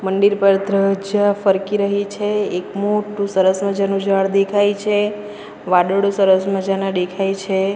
મંદિર પર ધ્વજા ફરકી રહી છે એક મોટું સરસ મજાનું ઝાડ દેખાય છે વાડળો સરસ મજાના ડેખાય છે.